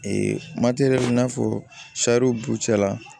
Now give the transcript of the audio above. i n'a fɔ burucɛ la